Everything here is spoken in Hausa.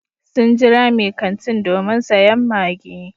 Sun jira mai kantin domin sayen maggi.